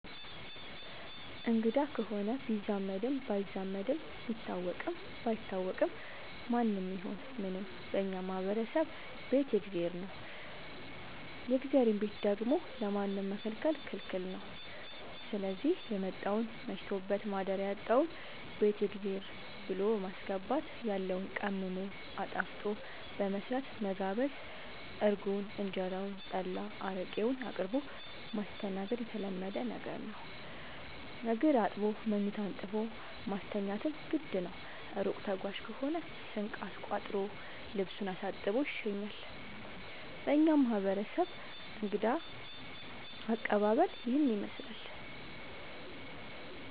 አንግዳ ከሆነ ቢዛመድም ባይዛመድም ቢታወቅም ባይታወቅም ማንም ይሁን ምንም በእኛ ማህበረሰብ ቤት የእግዜር ነው። የእግዜርን ቤት ደግሞ ለማንም መከልከል ክልክል ነው ስዚህ የመጣውን መሽቶበት ማደሪያ ያጣውን ቤት የእግዜር ብሎ በማስገባት ያለውን ቀምሞ አጣፍጦ በመስራት መጋበዝ እርጎውን እንጀራውን ጠላ አረቄውን አቅርቦ ማስተናገድ የተለመደ ነገር ነው። እግር አጥቦ መኝታ አንጥፎ ማስተኛትም ግድ ነው። እሩቅ ተጓዥ ከሆነ ስንቅ አስቋጥሮ ልሱን አሳጥቦ ይሸኛል። በእኛ ማህረሰብ እንግዳ አቀባሀል ይህንን ይመስላል።